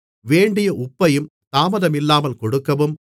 வேண்டிய உப்பையும் தாமதமில்லாமல் கொடுக்கவும்